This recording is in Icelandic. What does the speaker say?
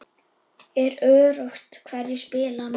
Er öruggt hverjir spila núna?